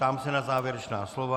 Ptám se na závěrečná slova.